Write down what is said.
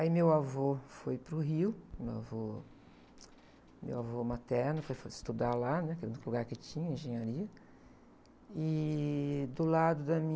Aí meu avô foi para o Rio, meu avô, meu avô materno foi estudar lá, né? Que era o único lugar que tinha engenharia, e do lado da